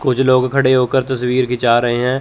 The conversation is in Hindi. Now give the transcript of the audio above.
कुछ लोग खड़े होकर तस्वीर खींचा रहे हैं।